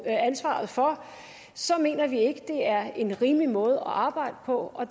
ansvaret for så mener vi ikke det er en rimelig måde at arbejde på og